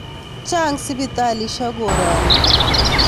Chang' sipitalisyek koroni